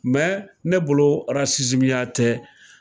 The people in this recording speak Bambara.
Mɛ ne bolo ya tɛ